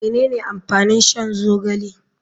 Menene amfanin shan zogale.